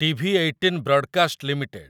TV18 broadcast limited